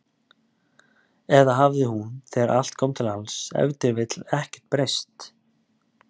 Eða hafði hún, þegar allt kom til alls, ef til vill ekkert breyst?